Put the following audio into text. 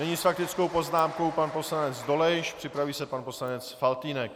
Nyní s faktickou poznámkou pan poslanec Dolejš, připraví se pan poslanec Faltýnek.